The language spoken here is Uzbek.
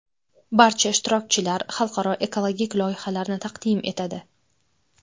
Barcha ishtirokchilar xalqaro ekologik loyihalarni taqdim etadi.